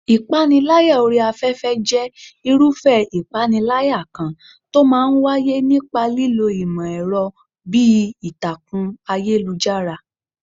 Ìpániláyà orí afẹ́fẹ́ jẹ́ irúfẹ́ ìpániláyà kan tó máa ń wáyé nípa lílo ìmọ̀ ẹ̀rọ bíi ìtàkùn ayélujára.